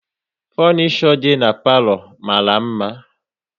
Funisho dị n'palo mara mma